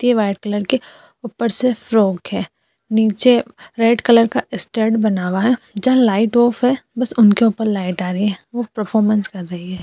ते white colour के ऊपर से फ्रॉक है। नीचे रेड कलर का स्टैन्ड बना हुआ है जहाँ लाइट ऑफ़ है। बस उनके ऊपर लाइट आ रही है। वो परफॉरमेंस कर रही है।